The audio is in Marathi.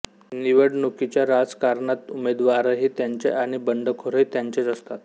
निवडणुकीच्या राजकारणात उमेदवारही त्यांचे आणि बंडखोरही त्यांचेच असतात